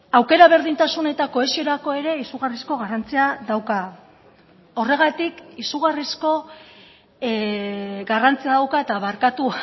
aukera berdintasun eta kohesiorako ere izugarrizko garrantzia dauka horregatik izugarrizko garrantzia dauka eta barkatu